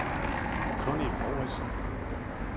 Connie Mouritzen